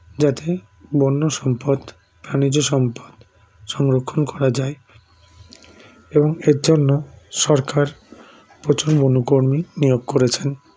যাতে বন্যসম্পদ প্রাণীজসম্পদ সংরক্ষণ করা যায় এবং এরজন্য সরকার প্রচুর বনকর্মী নিয়োগ করেছেন